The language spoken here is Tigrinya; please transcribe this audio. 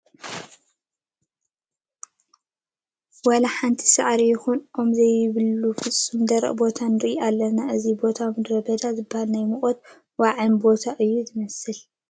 ዋላ ሓንቲ ሳዕሪ ይኹን ኦም ዘይብሉ ፍፁም ደረቕ ቦታ ንርኢ ኣለና፡፡ እዚ ቦታ ምድረ በዳ ዝበሃል ናይ ሙቐትን ዋዕይን ቦታ እዩ ዝመስል፡፡